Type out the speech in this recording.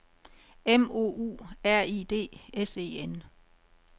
M O U R I D S E N